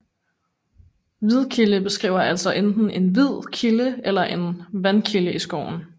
Hvidkilde beskriver altså enten en hvid kilde eller en vandkilde i skoven